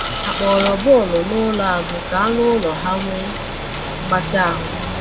Ha kpọrọ bọọlụ n’ụlọ azụ ka anụ ụlọ ha nwee mgbatị ahụ.